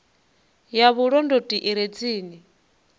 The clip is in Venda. ya vhulondoti i re tsini